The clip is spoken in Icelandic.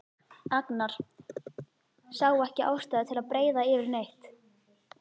Agnar sá ekki ástæðu til að breiða yfir neitt.